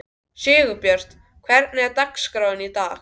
Sigurbjört, hvernig er dagskráin í dag?